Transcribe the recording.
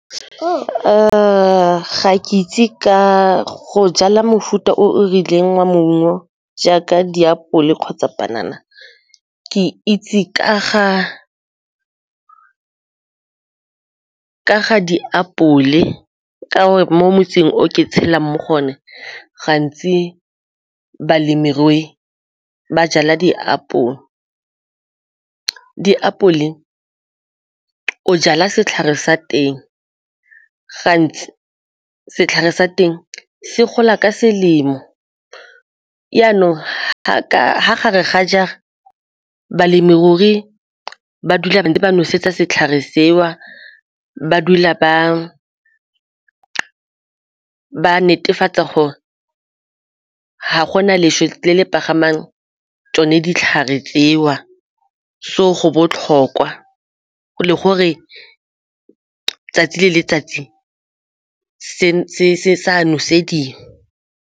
Ga ke itse ka go jala mofuta o o rileng wa maungo jaaka diapole kgotsa panana, ke itse ka ga ka ga diapole ka'ore mo motseng o ke tshelang mo go one gantsi balemirui ba jala diapole. Diapole o jala setlhare sa teng gantsi setlhare sa teng se gola ka selemo, jaanong ga gare ga jara balemirui ba dula ba ntse ba nosetsa setlhare seo, ba dula ba ba netefatsa gore ga gona leswe le tsone ditlhare tseo so go botlhokwa gore 'tsatsi le letsatsi se sa nosediwa.